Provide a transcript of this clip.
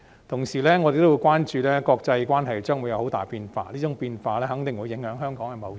同時，我們也關注到國際關係將會有佷大的變化，這種變化肯定會影響香港的貿易。